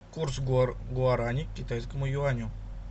курс гуарани к китайскому юаню